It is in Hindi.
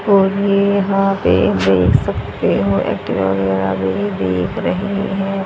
और ये यहां पे देख सकते हो देख रहे हैं।